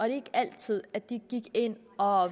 ikke altid at de gik ind og